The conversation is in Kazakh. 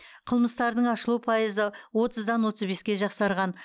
қылмыстардың ашылу пайызы отыздан отыз беске жақсарған